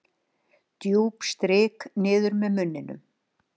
Djúp strik niður með munninum.